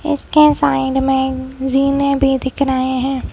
इसके साइड में रिने भी दिख रहे हैं।